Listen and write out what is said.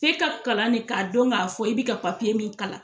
F'e ka kalan de k'a dɔn k'a fɔ i bi ka papiye min kalan